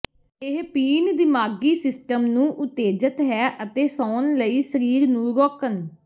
ਇਹ ਪੀਣ ਦਿਮਾਗੀ ਸਿਸਟਮ ਨੂੰ ਉਤੇਜਤ ਹੈ ਅਤੇ ਸੌਣ ਲਈ ਸਰੀਰ ਨੂੰ ਰੋਕਣ